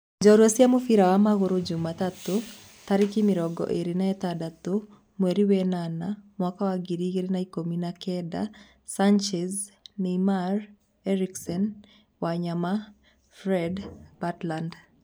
Njorua cia mũbira wa magũrũ Jumatatu 26.08.2019: Sanchez, Neymar, Eriksen, Wanyama, Fred, Butland